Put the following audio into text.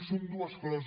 són dues coses